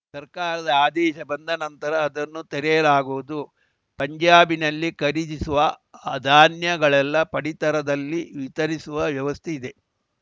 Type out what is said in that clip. ಸರ್ಕಾರದ ಆದೇಶ ಬಂದ ನಂತರ ಅದನ್ನು ತೆರೆಯಲಾಗುವುದು ಪಂಜಾಬಿನಲ್ಲಿ ಖರೀದಿಸುವ ಧಾನ್ಯಗಳೆಲ್ಲಾ ಪಡಿತರದಲ್ಲಿ ವಿತರಿಸುವ ವ್ಯವಸ್ಥೆ ಇದೆ